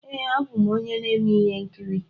Ee, abụ m onye na-eme ihe nkiri.